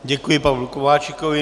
Děkuji Pavlu Kováčikovi.